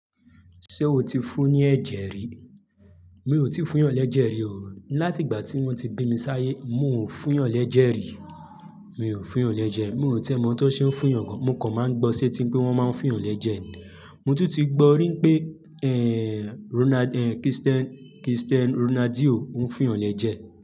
Ṣé o ti fún ní ẹ̀jẹ̀ rí? Mi ò tí fún yàn lẹ́jẹ̀ rí o. Látìgbà tí wọ́n ti bí mi sáyé, mo ò fún yàn lẹ́jẹ̀ rí. Mi ò fún yàn lẹ́jẹ̀. Mi ò tẹ́ mọ̀ ọ́n tó ṣe ń fún yàn gan. Mo kàn máa ń gbọ́ ṣé tí pé wọ́n máa ń fún yàn lẹ́jẹ̀. Mo tún ti gbọ́ rin pé, ẹ́, Ronald, ẹ́, Kristen, Kristen Ronaldio ń fún yàn lẹ́jẹ̀